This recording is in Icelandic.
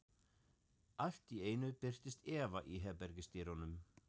Allt í einu birtist Eva í herbergisdyrunum.